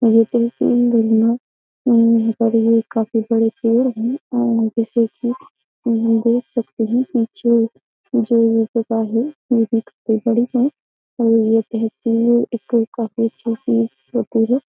जैसे की काफी बड़े पेड़ हैं और जैसे की हम ये देख सकते हैं की जो जो ये जगह है ये बड़ी है। काफी अच्छे से होती है।